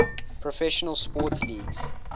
professional sports leagues